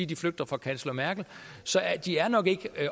de flygter fra kansler merkel så de er nok ikke